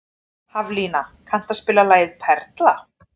Haflína, kanntu að spila lagið „Perla“?